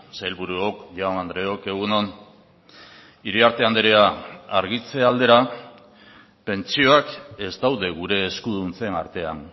sailburuok jaun andreok egun on iriarte andrea argitze aldera pentsioak ez daude gure eskuduntzen artean